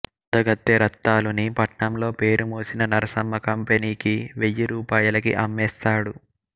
అందగత్తె రత్తాలుని పట్నంలో పేరుమోసిన నరసమ్మ కంపెనీకి వెయ్యి రూపాయలకి అమ్మేస్తాడు